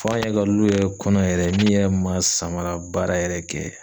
fɔ an yɛrɛ ka lu yɛrɛ kɔnɔ yɛrɛ min yɛ man samara baara yɛrɛ kɛ